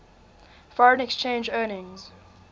foreign exchange earnings